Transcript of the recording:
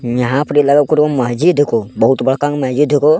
यहां परि लगब करो महजीद हको बहुत बड़का गो महजिद हको।